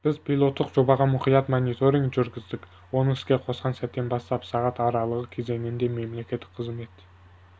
біз пилоттық жобаға мұқият мониторинг жүргіздік оны іске қосқан сәттен бастап сағат аралығы кезеңінде мемлекеттік қызмет